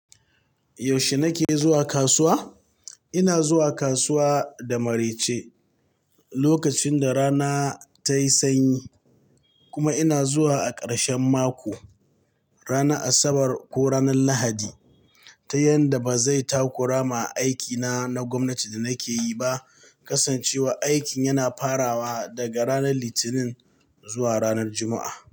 Yaushe nake zuwa kasuwa? Ina zuwa kasuwa da maraice lokacin da rana ta yi sanyi kuma ina zuwa a karshen mako, ranar Asabar ko ranar Lahadi ta yadda ba zai takurama aikina na gwamnati da nake yi ba, kasancewa aikin yana farawa daga ranar Litinin zuwa ranar Juma'a.